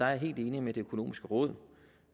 er jeg helt enig med det økonomiske råd